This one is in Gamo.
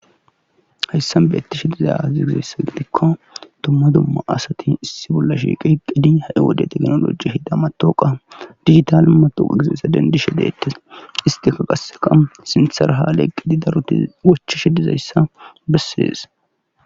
Hayssan beetti shidiza aziroyssa gidikko tumma dumma asati issi bolla shiiqi heqqidi ha'i wode teknoloji hida matoqa digital matoqa gizeessa dendishe deettes isti ka qaseqa sintherha leeqqidi daruti wochi shi dizayssa bessees